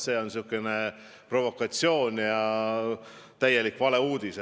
See on provokatsioon ja täielik valeuudis.